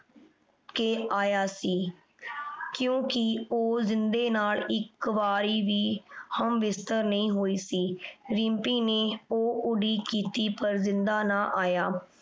ਕੇ ਆਯਾ ਸੀ ਕ੍ਯੂ ਕੀਯ ਊ ਜਿੰਦੇ ਨਾਲ ਏਇਕ ਵਾਰੀ ਵੀ ਹਮਬਿਸਤਰ ਨਾਈ ਹੋਈ ਸੀ ਰਿਮ੍ਪੀ ਨੇ ਊ ਉਡੀਕ ਕੀਤੀ ਪਰ ਜਿੰਦਾ ਨਾ ਆਯਾ